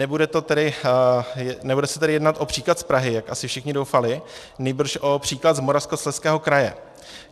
Nebude se tedy jednat o příklad z Prahy, jak asi všichni doufali, nýbrž o příklad z Moravskoslezského kraje.